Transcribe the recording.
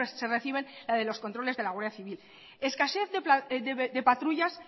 se reciben las de los controles de la guardia civil escasez de patrullas